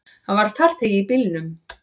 Hann var farþegi í bílnum.